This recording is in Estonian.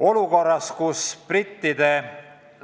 Olukorras, kus brittide